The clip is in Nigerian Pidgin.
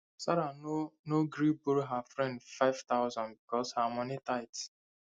sarah no no gree borrow her friend five hundred because her money tight